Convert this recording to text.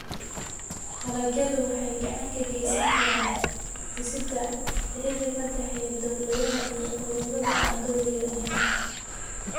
Dalagyadu waxay gacan ka geysan karaan dhisidda xiriirka ka dhexeeya dawladaha iyo ururada aan dowliga ahayn.